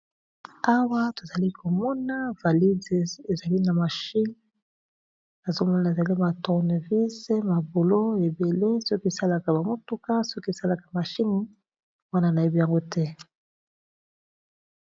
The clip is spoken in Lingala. Awa tozali komona valide ezali na machine nazomona eza ba tourné visé mabolo ebele soki esalaka ba motuka soki esalaka machine wana na yebi yango te.